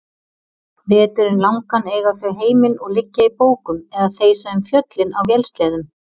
Veturinn langan eiga þau heiminn og liggja í bókum eða þeysa um fjöllin á vélsleðum.